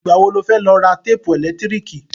Ìgbà wo lo fẹ́ lọ ra téèpù ẹ̀lẹ́tíríkì?